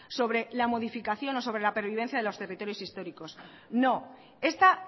sobre la modificación o sobre la pervivencia de los territorios históricos no esta